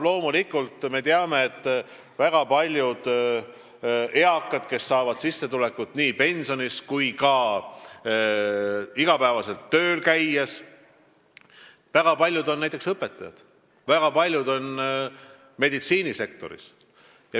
Loomulikult, me teame, et neist eakatest, kes saavad sissetulekut nii pensionist kui ka iga päev tööl käies, on väga paljud näiteks õpetajad, väga paljud on meditsiinisektoris.